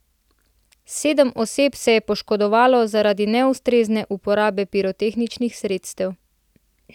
Sedem oseb pa se je poškodovalo zaradi neustrezne uporabe pirotehničnih sredstev.